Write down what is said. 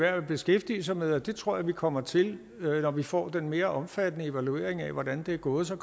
værd at beskæftige sig med det og det tror jeg vi kommer til når vi får den mere omfattende evaluering af hvordan det er gået så